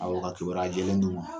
Aw ka kibaruya jɛlen don wa?